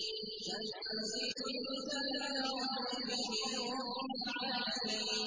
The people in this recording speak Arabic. تَنزِيلُ الْكِتَابِ لَا رَيْبَ فِيهِ مِن رَّبِّ الْعَالَمِينَ